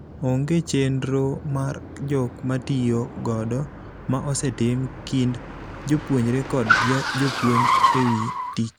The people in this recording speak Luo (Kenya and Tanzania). Onge chendro mar jok matiyo godo ma osetim kind jopuonjre kod jopuonj ewii tich.